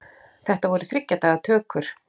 Þetta voru þriggja daga tökur.